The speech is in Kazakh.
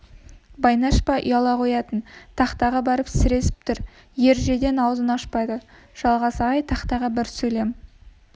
байнаш па ұяла қоятын тақтаға барып сіресіп тұр ережеден аузын ашпады жалғас ағай тақтаға бір сөйлем